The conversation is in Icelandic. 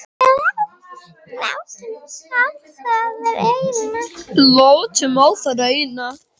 Látum á það reyna!